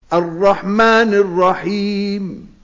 الرَّحْمَٰنِ الرَّحِيمِ